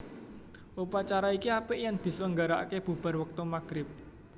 Upacara iki apik yen diselenggaraake bubar wektu maghrib